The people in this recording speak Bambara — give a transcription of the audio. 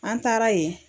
An taara yen